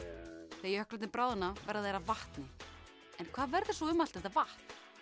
þegar jöklarnir bráðna verða þeir að vatni en hvað verður svo um allt þetta vatn